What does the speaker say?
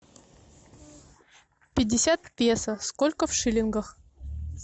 пятьдесят песо сколько в шиллингах